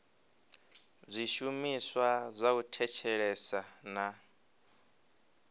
zwishumiswa zwa u thetshelesa na